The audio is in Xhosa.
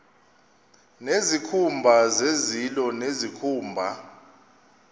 nezikhumba zezilo nezikhumba